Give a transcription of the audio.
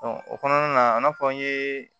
o kɔnɔna na an na fɔ an ye